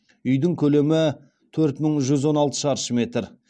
үйдің көлемі төрт мың жүз он алты шаршы метр